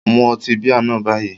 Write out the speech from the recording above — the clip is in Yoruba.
Mu ọtí bíà náà báyìí